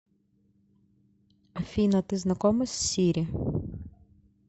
афина ты знакома с сири